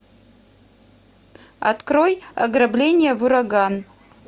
открой ограбление в ураган